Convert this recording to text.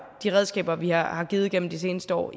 de redskaber vi har givet gennem de seneste år